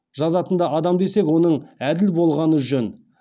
жазатын да адам десек оның әділ болғаны жөн